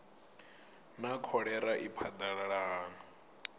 naa kholera i phadalala hani